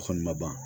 A kɔni ma ban